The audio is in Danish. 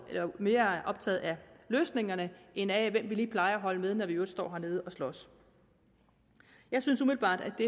være mere optaget af løsningen end af hvem vi lige plejer at holde med når vi i øvrigt står hernede og slås jeg synes umiddelbart at det